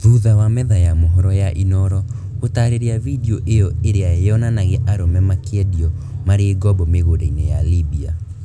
Thutha wa metha ya mohoro ya Inoro gũtaarĩria video ĩyo ĩria yonanagia arũme makĩendio marĩ ngombo mĩgũnda-inĩ ya Libya.